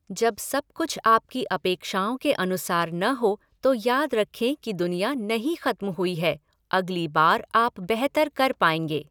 जब सब कुछ आपकी अपेक्षाओं के अनुसार न हो तो याद रखें कि दुनिया नहीं ख़त्म हुई है, अगली बार आप बेहतर कर पाएँगे।